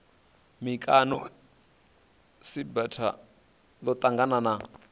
mikano cbrta ḽo ṱangana na